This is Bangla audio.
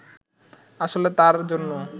আসলে তাঁর জন্য